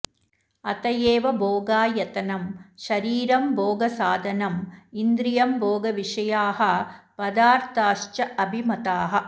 अत एव भोगायतनं शरीरं भोगसाधनम् इन्द्रियं भोगविषयाः पदार्थाश्च अभिमताः